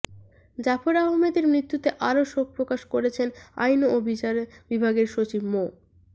জাফর আহমেদের মৃত্যুতে আরো শোক প্রকাশ করেছেন আইন ও বিচার বিভাগের সচিব মো